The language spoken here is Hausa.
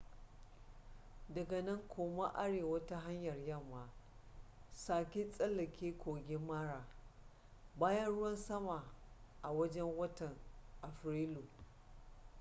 daga nan koma arewa ta hanyar yamma sake tsallake kogin mara bayan ruwan sama a wajen watan afrilu